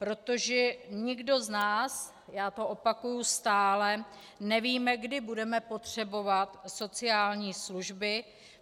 Protože nikdo z nás, já to opakuji stále, nevíme, kdy budeme potřebovat sociální služby.